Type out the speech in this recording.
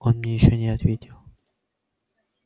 он мне ещё не ответил